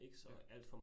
Ja